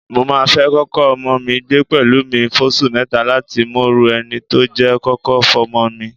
Mo máa fẹ́ kọ́kọ ọmọ mi gbé pẹ̀lú mi fóṣù mẹ́ta láti mọrú ẹni tó jẹ́ kó tó fọ́mọ mi.